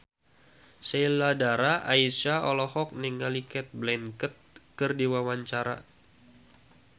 Sheila Dara Aisha olohok ningali Cate Blanchett keur diwawancara